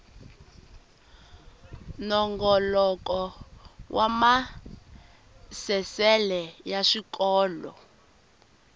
nongoloko wa maasesele ya swikolo